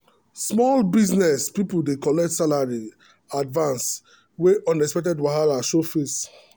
small business people dey collect salary advance when unexpected wahala show face.